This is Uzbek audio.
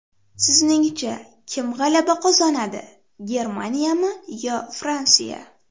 Sizningcha, kim g‘alaba qozonadi Germaniyami yo Fransiya?